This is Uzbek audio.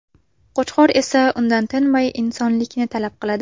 Qo‘chqor esa undan tinmay insonlikni talab qiladi.